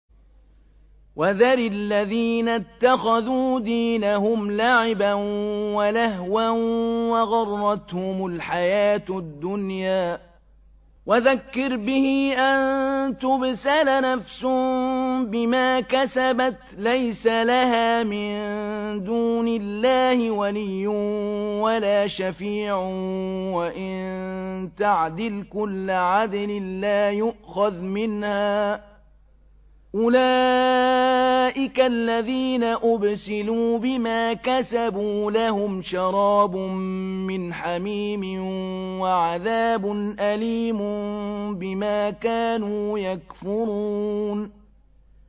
وَذَرِ الَّذِينَ اتَّخَذُوا دِينَهُمْ لَعِبًا وَلَهْوًا وَغَرَّتْهُمُ الْحَيَاةُ الدُّنْيَا ۚ وَذَكِّرْ بِهِ أَن تُبْسَلَ نَفْسٌ بِمَا كَسَبَتْ لَيْسَ لَهَا مِن دُونِ اللَّهِ وَلِيٌّ وَلَا شَفِيعٌ وَإِن تَعْدِلْ كُلَّ عَدْلٍ لَّا يُؤْخَذْ مِنْهَا ۗ أُولَٰئِكَ الَّذِينَ أُبْسِلُوا بِمَا كَسَبُوا ۖ لَهُمْ شَرَابٌ مِّنْ حَمِيمٍ وَعَذَابٌ أَلِيمٌ بِمَا كَانُوا يَكْفُرُونَ